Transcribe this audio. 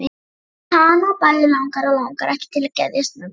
Hana bæði langar og langar ekki til að geðjast mömmu.